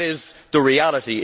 That is the reality.